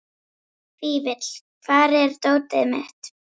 Fífill, hvar er dótið mitt?